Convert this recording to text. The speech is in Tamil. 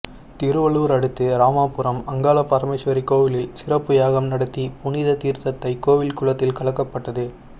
திருவள்ளூர் அடுத்த ராமாபுரம் அங்காள பரமேஸ்வரி கோவிலில் சிறப்பு யாகம் நடத்தி புனித தீர்த்தத்தை கோவில் குளத்தில் கலக்கப்பட்டது